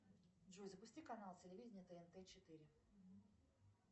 джой запусти канал телевидения тнт четыре